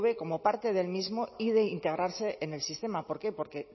como parte del mismo y de integrarse en el sistema por qué porque